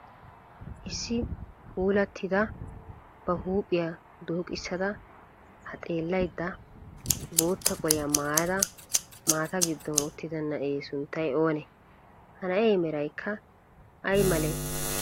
issi puulattida ba huuphiyaa dooqissada haa xeellayidda bootta qoliyaa maayyada maata giddon uttida na'ee sunttay oonee? Ha na'ee merayikka ayi malee?